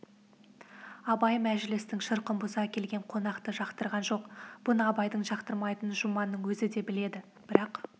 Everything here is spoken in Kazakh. абай мәжілістің шырқын бұза келген қонақты жақтырған жоқ бұны абайдың жақтырмайтынын жұманның өзі де біледі бірақ